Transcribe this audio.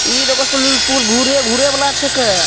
इ देखो स्वीमिंगपुल घूरे घूरे वाला छीके।